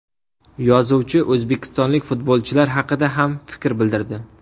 Yozuvchi o‘zbekistonlik futbolchilar haqida ham fikr bildirdi.